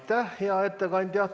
Aitäh, hea ettekandja!